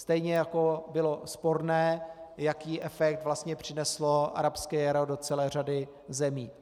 Stejně jako bylo sporné, jaký efekt vlastně přineslo arabské jaro do celé řady zemí.